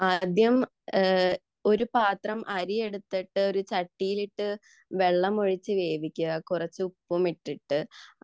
ആദ്യം ഒരു പാത്രം അരി എടുത്തിട്ട് ഒരു ചട്ടിയിലിട്ട് വെള്ളമൊഴിച്ചു വേവിക്കുക കുറച്ചു ഉപ്പും ഇട്ടിട്ട്